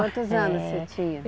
Quantos anos você tinha?